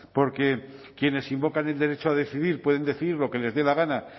porque quienes invocan el derecho a decidir pueden decir lo que les dé la gana